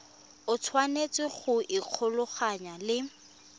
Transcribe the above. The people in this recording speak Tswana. o tshwanetse go ikgolaganya le